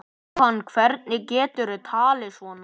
Jóhann, hvernig geturðu talað svona?